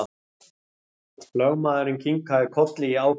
Lögmaðurinn kinkaði kolli í ákefð.